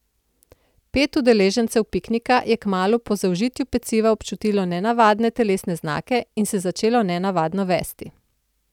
Pet udeležencev piknika, je kmalu po zaužitju peciva občutilo nenavadne telesne znake in se začelo nenavadno vesti.